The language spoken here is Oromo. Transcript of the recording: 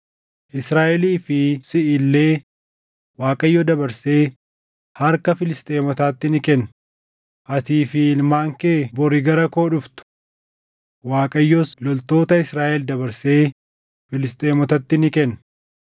Israaʼelii fi siʼi illee Waaqayyo dabarsee harka Filisxeemotaatti ni kenna; atii fi ilmaan kee bori gara koo dhuftu. Waaqayyos loltoota Israaʼel dabarsee Filisxeemotatti ni kenna.”